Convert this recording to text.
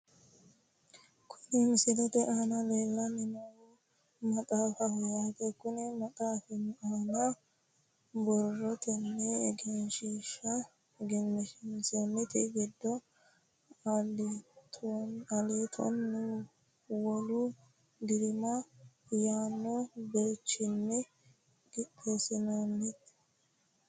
Kuni misilete aana leellanni noohu maxaafaho yaate konni maxaafi aana borrotenni egensiinsoonninte gede aliitonna wolu diraama yaanno birxichinni qinaawinoho .